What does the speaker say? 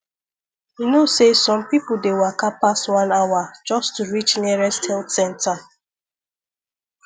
you know say some people dey waka pass one hour just to reach nearest health center